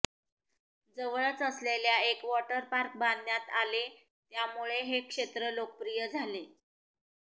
जवळच असलेल्या एक वॉटर पार्क बांधण्यात आले यामुळं हे क्षेत्र लोकप्रिय झाले